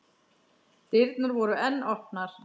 Dyrnar voru enn opnar.